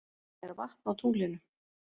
Er vatn á tunglinu?